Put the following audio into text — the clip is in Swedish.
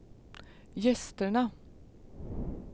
gästerna